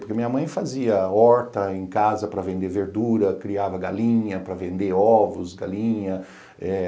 Porque minha mãe fazia horta em casa para vender verdura, criava galinha para vender ovos, galinha.